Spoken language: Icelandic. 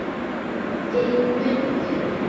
Finn buddu.